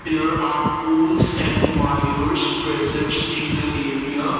there are poles and wires present in the area.